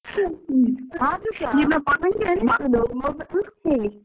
ಆದ್ರೂಸ .